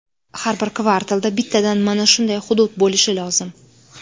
Har bir kvartalda bittadan mana shunday hudud bo‘lishi lozim.